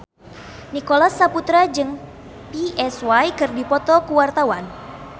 Nicholas Saputra jeung Psy keur dipoto ku wartawan